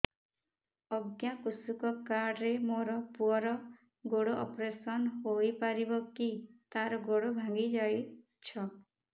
ଅଜ୍ଞା କୃଷକ କାର୍ଡ ରେ ମୋର ପୁଅର ଗୋଡ ଅପେରସନ ହୋଇପାରିବ କି ତାର ଗୋଡ ଭାଙ୍ଗି ଯାଇଛ